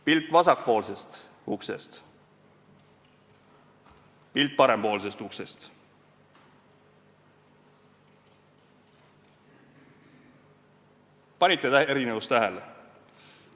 Pilt vasakpoolsest uksest, pilt parempoolsest uksest – kas panite erinevust tähele?